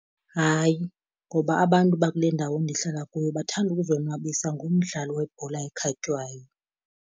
Hayi, ngoba abantu bakule ndawo ndihlala kuyo bathanda ukuzonwabisa ngomdlalo webhola ekhatywayo.